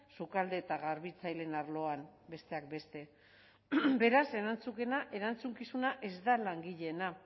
sukalde eta garbitzaileen arloan besteak beste beraz erantzukizuna ez da langileena